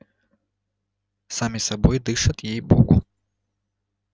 сами собой дышат ей богу